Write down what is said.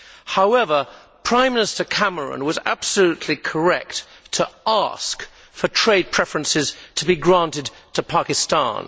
However, Prime Minister Cameron was absolutely correct to ask for trade preferences to be granted to Pakistan.